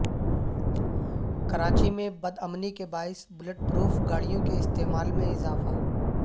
کراچی میں بدامنی کے باعث بلٹ پروف گاڑیوں کے استعمال میں اضافہ